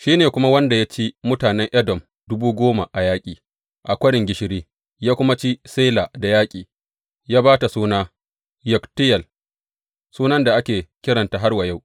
Shi ne kuma wanda ya ci mutanen Edom dubu goma a yaƙi, a Kwarin Gishiri, ya kuma ci Sela da yaƙi, ya ba ta suna Yokteyel, sunan da ake kiranta har wa yau.